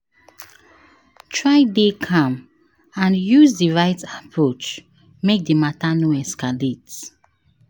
Try de calm and use di right approach make di matter no escalate